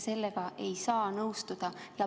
Sellega ei saa nõustuda.